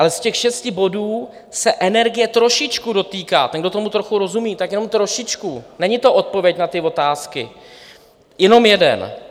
Ale z těch šesti bodů se energie trošičku dotýká - ten, kdo tomu trochu rozumí, tak jenom trošičku, není to odpověď na ty otázky - jenom jeden.